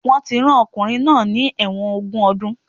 Wọ́n ti rán ọkùnrin náà ní ẹ̀wọ̀n ogún ọdún